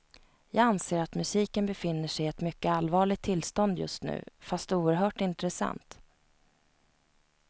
Jag anser att musiken befinner sig i ett mycket allvarligt tillstånd just nu, fast oerhört intressant.